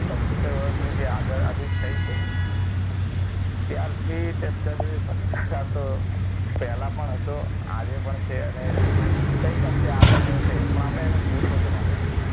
પંચોત્તેર વરસની જે યાદી થઇ છે. ત્યારથી અત્યાર સુધી ભ્રષ્ટાચાર તો પહેલા પણ હતો આજે પણ છે હજુ કંઈક અંશે આગળ રહેશે પણ આપણે તેને ઓછો કરવાનો છે.